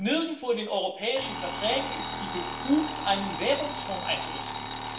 Nirgendwo in den europäischen Verträgen ist sie befugt, einen Währungsfonds einzurichten.